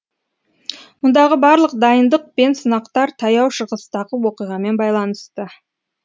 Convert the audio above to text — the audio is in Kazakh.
мұндағы барлық дайындық пен сынақтар таяу шығыстағы оқиғамен байланысты